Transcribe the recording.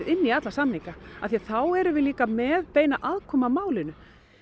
í alla samninga því þá erum við líka með beina aðkomu að málinu